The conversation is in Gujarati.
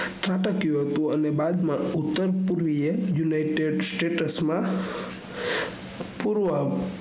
ખુટકીયું હતું અને બાદ માં ઉતર પૂર્વય united states માં પૂર્વ